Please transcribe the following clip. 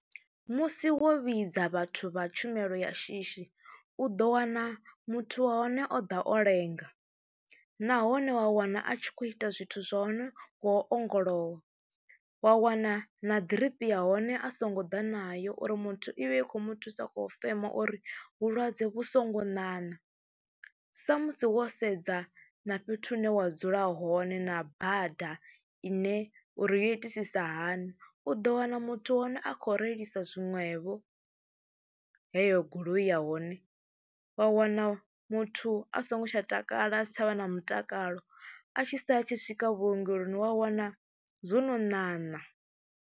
Musi wo vhidza vhathu vha tshumelo ya shishi u ḓo wana muthu wa hone o ḓa o lenga nahone wa wana a tshi khou ita zwithu zwa hone ngo ongolowa. Wa wana na ḓiripi ya hone a songo ḓa nayo uri muthu i vhe i khou mu thusa khou fema uri vhulwadze vhu songo ṋaṋa sa musi wo sedza na fhethu hune wa dzula hone na bada ine uri yo itisisa hani, u ḓo wana muthu wa hone a khou reilisa zwiṅwevho heyo goloi ya hone. Wa wana muthu a songo tsha takala a si tsha vha na mutakalo a tshi sala tshi swika vhuongeloni wa wana zwo no ṋaṋa.